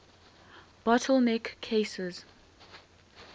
bottle neck cases